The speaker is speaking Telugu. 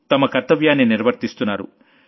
తమ కర్తవ్యాన్ని నిర్వర్తిస్తున్నారు